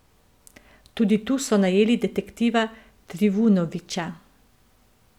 Tudi tu so najeli detektiva Trivunovića.